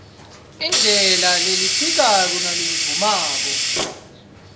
indlela lephikako nalevumako